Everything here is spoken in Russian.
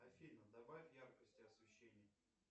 афина добавь яркости освещения